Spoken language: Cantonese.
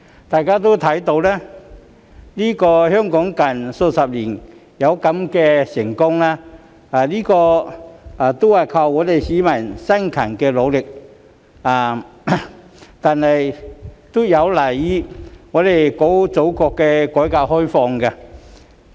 大家都看到，香港近數十年之所以這麼成功，不但有賴市民的辛勤努力，亦有賴祖國的改革開放。